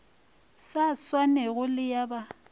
sa swanego le ya ba